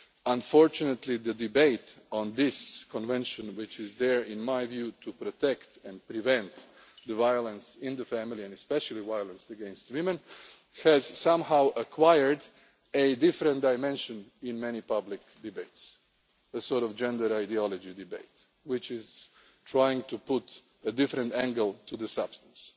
almost over. Unfortunately, the debate on this Convention which was there, in my view, to protect and prevent violence in the family especially violence against women has somehow acquired a different dimension in many public debates, a sort of gender ideology debate which is trying to put a different angle on the